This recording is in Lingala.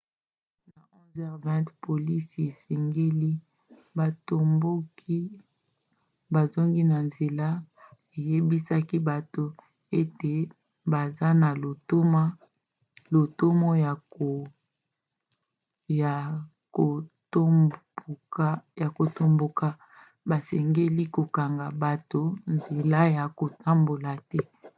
na 11:20 polisi esengaki batomboki bazonga na nzela eyebisaki bango ete ata baza na lotomo ya kotomboka basengeli kokanga bato nzela ya kotambola te